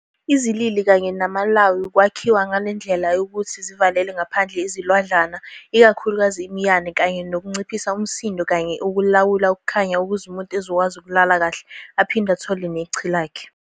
Izilili kanye namalawu ukwakhiwa ngelendlela yokuthi zivalele ngaphandle izilwadlana, ikakhulukazi imiyane, kanye nokunciphisa umsindo noma ukulawula ukukhanya ukuze umuntu ezokwazi ukulala kahle aphinde athole nechi lakhe.